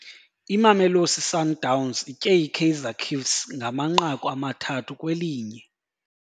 Imamelosi Sundowns itye iKaizer Ciefs ngamanqaku amathathu kwelinye.